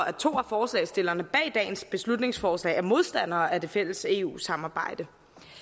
at to af forslagsstillerne bag dagens beslutningsforslag er modstandere af det fælles eu samarbejde